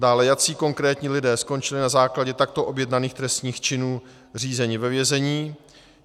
Dále, jací konkrétní lidé skončili na základě takto objednaných trestných činů řízení ve vězení.